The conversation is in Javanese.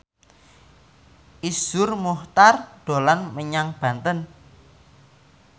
Iszur Muchtar dolan menyang Banten